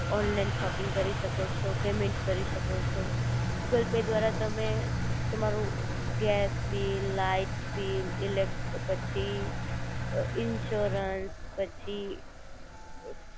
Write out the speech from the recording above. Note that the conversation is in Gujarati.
ઓનલાઇન શોપિંગ કરી શકો છો પેમેન્ટ કરી શકો છો ગૂગલ પે દ્વારા જ તમે તમારું ગેસ બિલ, લાઇટબિલ, ઇલેક પછી ઈન્સ્યોરન્સ પછી